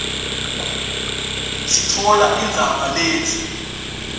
sitfola indzaba letsi